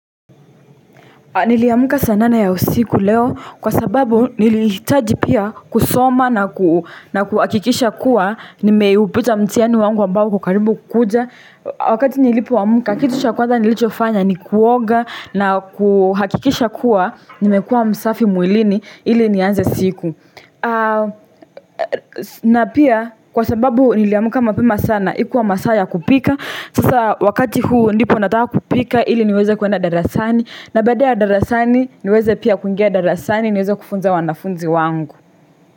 Niliamka saa nane ya usiku leo, kwa sababu nilihitaji pia kusoma na kuhakikisha kuwa, nimeupita mtihani wangu ambao uko karibu kukuja. Wakati nilipo amka, kitu cha kwanza nilichofanya ni kuoga na kuhakikisha kuwa, nimekuwa msafi mwilini, ili nianze siku. Na pia, kwa sababu niliamka mapema sana, ikuwa masaa ya kupika. Sasa wakati huu ndipo natawa kupika ili niweze kwenda darasani, na baada ya darasani niweze pia kungia darasani niweze kufunza wanafunzi wangu.